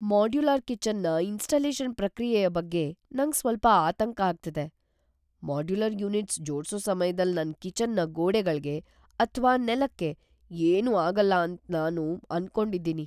Modular ಕಿಚನ್ನ installation ಪ್ರಕ್ರಿಯೆಯ ಬಗ್ಗೆ ನಂಗ್ ಸ್ವಲ್ಪ ಆತಂಕ ಆಗ್ತಿದೆ. ಮಾಡ್ಯುಲರ್ ಯೂನಿಟ್ಸ್ ಜೋಡ್ಸೋ ಸಮ್ಯದಲ್ ನನ್ ಕಿಚನ್ನ ಗೋಡೆಗಳ್ಗೆ ಅಥ್ವಾ ನೆಲಕ್ಕೆ ಏನೂ ಆಗಲ್ಲ ಅಂತ್ ನಾನ್ ಅನ್ಕೊಂಡಿದ್ದೀನಿ.